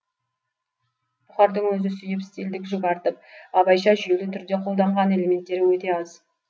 бұхардың өзі сүйіп стильдік жүк артып абайша жүйелі түрде қолданған элементтері өте аз